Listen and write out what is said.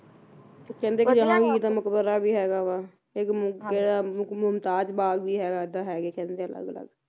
ਕਹਿੰਦੇ ਕੇ ਰਾਣੀ ਦਾ ਮੁਕਬਰਾ ਵੀ ਹੈਗਾ ਵਾ ਇਕ ਮੁਕੇ ਦਾ ਮੁਮਤਾਜ਼ ਬਾਗ ਵੀ ਹੈਗਾ ਆ ਇਹਦਾ ਹੈਗੇ ਕਹਿੰਦੇ ਅਲੱਗ ਅਲੱਗ